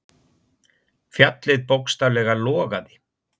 Fjallið bókstaflega logaði.